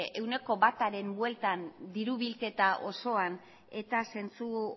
ehuneko bataren bueltan diru bilketa osoan eta zentzu